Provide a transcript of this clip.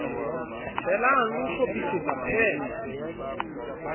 helang le ho hlophisetsa pan